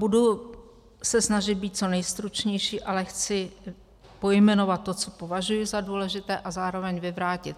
Budu se snažit být co nejstručnější, ale chci pojmenovat to, co považuji za důležité, a zároveň vyvrátit